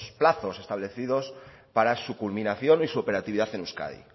plazos establecidos para su culminación y operatividad en euskadi